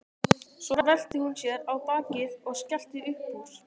Svo velti hún sér á bakið og skellti upp úr.